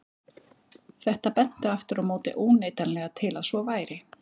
Þetta benti aftur á móti óneitanlega til að svo væri.